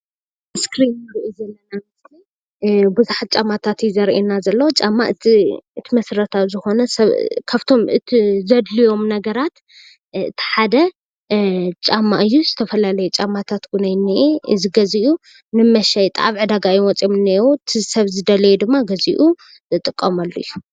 ኣብዚ እስክሪን እንሪኦ ዘለና ምስሊ ቡዙሓት ጫማታት እዩ ዘርእየና ዘሎ፡፡ ጫማ እቲ መሰረታዊ ዝኮነ ዘድልዮም ነገራት እቲ ሓደ ጫማ እዩ፡፡ ዝተፈላለዩ ጫማታት እውን እንሄ፡፡ እዚ ገዚኡ ንመሽጣ ኣብ ዕዳጋ እዮም ወፅኦም እኒሄዉ፡፡ እቲ ሰብ ዘድልዮ ድማ ገዚኡ ዝጥቀመሉ እዩ፡፡